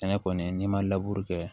Sɛnɛ kɔni n'i ma laburu kɛ